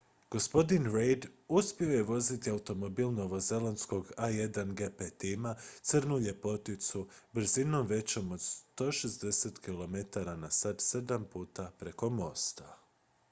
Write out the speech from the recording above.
gospodin reid uspio je voziti automobil novozelandskog a1gp tima crnu ljepoticu brzinom većom od 160 km/h sedam puta preko mosta